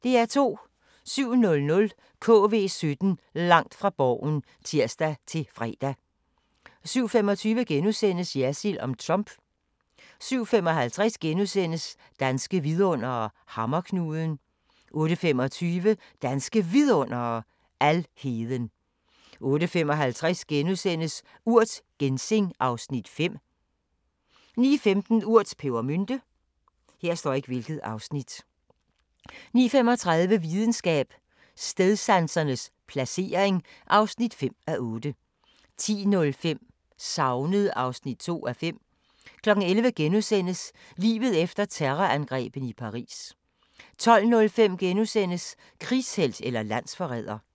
07:00: KV17 Langt fra Borgen (tir-fre) 07:25: Jersild om Trump * 07:55: Danske vidundere: Hammerknuden * 08:25: Danske Vidundere: Alheden 08:55: Urt: Ginseng (Afs. 5)* 09:15: Urt: Pebermynte 09:35: Videnskab: Stedsansens placering (5:8) 10:05: Savnet (2:5) 11:00: Livet efter terrorangrebene i Paris * 12:05: Krigshelt eller landsforræder? *